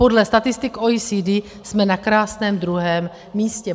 Podle statistik OECD jsme na krásném druhém místě.